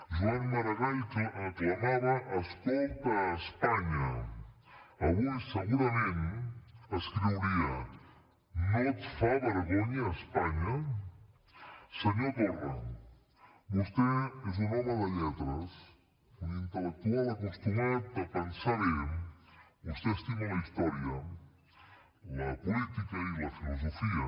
joan maragall aclamava escolta espanya avui segurament escriuria no et fa vergonya espanya senyor torra vostè és un home de lletres un intel·lectual acostumat a pensar bé vostè estima la història la política i la filosofia